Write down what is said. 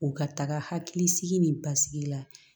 O ka taga hakilisigi ni basigi la